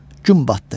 Gün batdı.